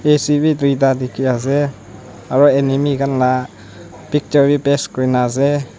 A C b duita dikhi ase aro animi khan la picture b paste kuri na ase.